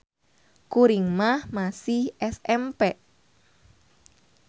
Kuring mah masih SMP.